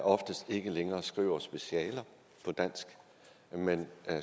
oftest ikke længere skriver specialer på dansk men